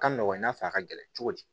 Ka nɔgɔn i n'a fɔ a ka gɛlɛn cogo di